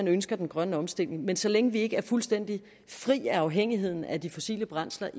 ønsker den grønne omstilling men så længe vi ikke er fuldstændig fri af afhængigheden af de fossile brændsler